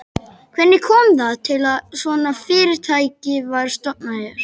Hvernig kom það til að svona fyrirtæki var stofnað hér?